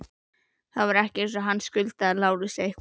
Það var ekki eins og hann skuldaði Lárusi eitthvað.